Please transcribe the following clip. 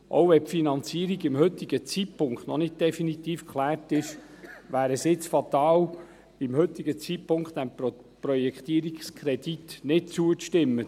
Auch wenn die Finanzierung zum heutigen Zeitpunkt noch nicht definitiv geklärt ist, wäre es jetzt fatal, zum heutigen Zeitpunkt diesem Projektierungskredit nicht zuzustimmen.